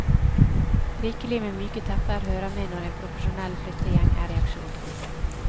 Rikelig med myke tepper hører med når en profesjonell flyttegjeng er i aksjon.